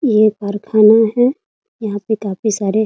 ये कारखाना है यहाँ पर काफी सारे --